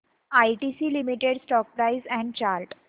ITC limited stock price and chart